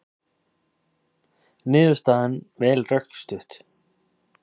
Niðurstaðan vel rökstudd